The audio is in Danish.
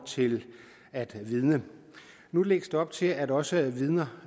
til at vidne nu lægges der op til at også vidner